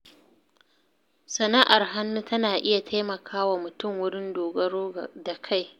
Sana’ar hannu tana iya taimakawa mutum wurin dogaro da kai.